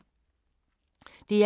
DR1